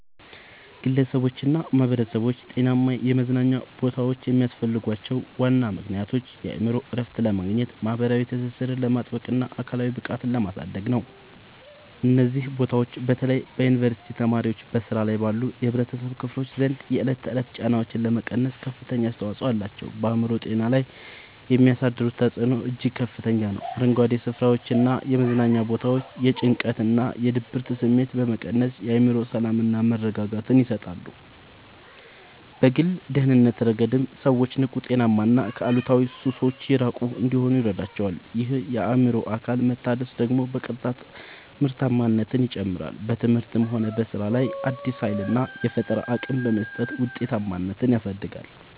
ግለሰቦችና ማኅበረሰቦች ጤናማ የመዝናኛ ቦታዎች የሚያስፈልጓቸው ዋና ምክንያቶች የአእምሮ እረፍት ለማግኘት፣ ማኅበራዊ ትስስርን ለማጥበቅና አካላዊ ብቃትን ለማሳደግ ነው። እነዚህ ቦታዎች በተለይ በዩኒቨርሲቲ ተማሪዎችና በሥራ ላይ ባሉ የኅብረተሰብ ክፍሎች ዘንድ የዕለት ተዕለት ጫናዎችን ለመቀነስ ከፍተኛ አስተዋጽኦ አላቸው። በአእምሮ ጤና ላይ የሚያሳድሩት ተጽዕኖ እጅግ ከፍተኛ ነው፤ አረንጓዴ ስፍራዎችና የመዝናኛ ቦታዎች የጭንቀትና የድብርት ስሜትን በመቀነስ የአእምሮ ሰላምና መረጋጋትን ይሰጣሉ። በግል ደህንነት ረገድም ሰዎች ንቁ: ጤናማና ከአሉታዊ ሱሶች የራቁ እንዲሆኑ ይረዳቸዋል። ይህ የአእምሮና አካል መታደስ ደግሞ በቀጥታ ምርታማነትን ይጨምራል: በትምህርትም ሆነ በሥራ ላይ አዲስ ኃይልና የፈጠራ አቅም በመስጠት ውጤታማነትን ያሳድጋል።